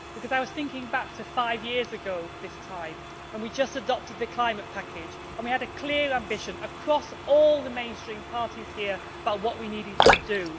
I was thinking back to five years ago, when we had just adopted the climate package and had a clear ambition across all the mainstream parties here about what we needed to do.